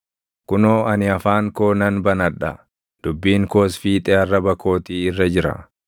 Kunoo ani afaan koo nan banadha; dubbiin koos fiixee arraba kootii irra jira.